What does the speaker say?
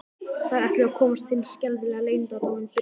Þær ætluðu að komast að hinum skelfilega leyndardómi byrgisins.